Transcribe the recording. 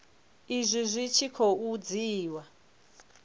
izwi zwi tshi khou dzhiiwa